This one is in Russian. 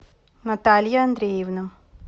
наталья андреевна